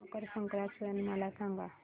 मकर संक्रांत सण मला सांगा